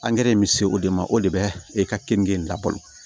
in bɛ se o de ma o de bɛ e ka keninge in labalo